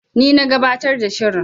Ni na gabatar da shirin.